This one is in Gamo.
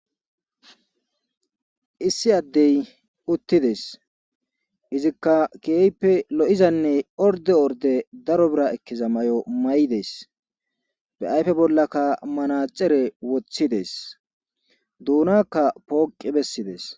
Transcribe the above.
Issi addey uttides izikka keepe lo'izanne orde orde daro bira ekkeza may'o may'des be ayfe bollakka manacere wothides duunakka pooqi bessides.